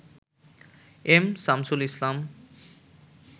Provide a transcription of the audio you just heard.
M Shamsul Islam